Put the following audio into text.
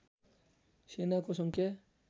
सेनाको सङ्ख्या